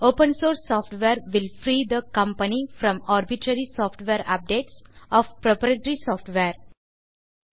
open source software will free the company from arbitrary software updates of proprietary software